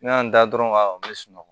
N y'a da dɔrɔn ka n be sunɔgɔ